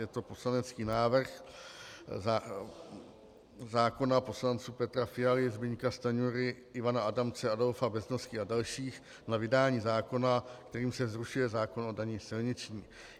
Je to poslanecký návrh zákona poslanců Petra Fialy, Zbyňka Stanjury, Ivana Adamce, Adolfa Beznosky a dalších na vydání zákona, kterým se zrušuje zákon o dani silniční.